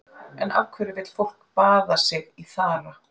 En af hverju vill fólk baða sig í þara?